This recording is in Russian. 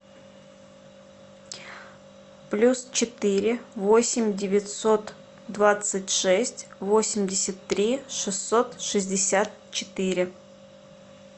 плюс четыре восемь девятьсот двадцать шесть восемьдесят три шестьсот шестьдесят четыре